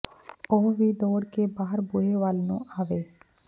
ਉਹ ਵੀ ਦੌੜ ਕੇ ਬਾਹਰ ਬੂਹੇ ਵਲ ਨੂੰ ਆਵੇ